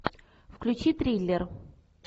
включи триллер